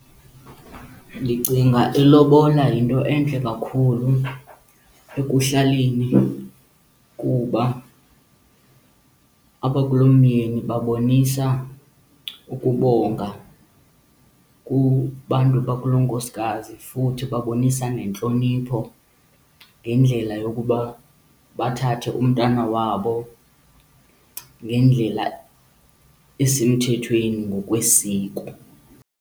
Ndicinga ilobola yinto entle kakhulu ekuhlaleni kuba abakulomyeni babonisa ukubonga kubantu bakulonkosikazi futhi babonisa nentlonipho ngendlela yokuba bathathe umntana wabo ngendlela esemthethweni ngokwesiko.